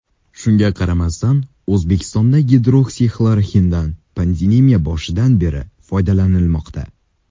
Shunga qaramasdan, O‘zbekistonda gidroksixloroxindan pandemiya boshidan beri foydalanilmoqda.